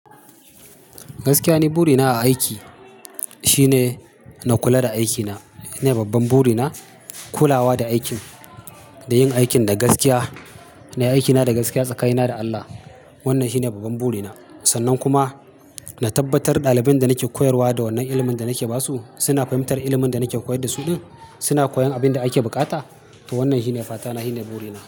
Gaskiya ni burina a aiki shine na kula da aikina. Shine babban burina kulawa da aikin, da yin aikin da gaskiya. Nayi aikina da gaskiya tsakanina da Allah. Wannan shine babban burina. Sannan kuma na tabbatar ɗalibin da nake koyarwa da wannan ilimin da nake basu suna fahimtar ilimin da nake koyar da su ɗin, suna koyan abin da ake bukata. To wannan shine fatana, shine burina.